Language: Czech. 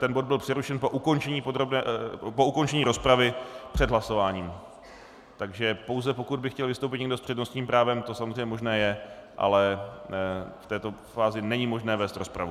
Ten bod byl přerušen po ukončení rozpravy před hlasováním, takže pouze pokud by chtěl vystoupit někdo s přednostním právem, to samozřejmě možné je, ale v této fázi není možné vést rozpravu.